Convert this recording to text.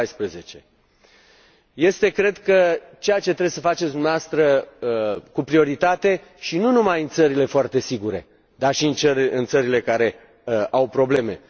2014. Este, cred, ceea ce trebuie să faceți dumneavoastră cu prioritate, și nu numai în țările foarte sigure, dar și în țările care au probleme.